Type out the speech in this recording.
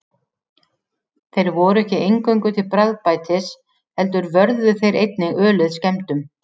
Þeir voru ekki eingöngu til bragðbætis heldur vörðu þeir einnig ölið skemmdum.